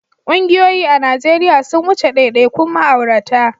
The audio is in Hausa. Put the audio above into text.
Ƙungiyoyi a Najeriya sun wuce daidaikun ma'aurata.